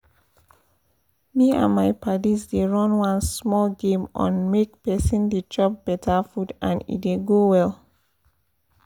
me and my padis dey run one small game on make person dey chop better food and e dey go well